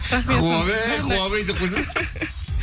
рахмет хуавэй хуавэй деп қойсаңызшы